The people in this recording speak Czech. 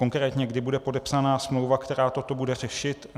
Konkrétně, kdy bude podepsána smlouva, která toto bude řešit?